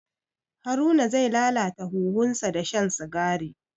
Haruna zai lalata huhunsa da shan sigari.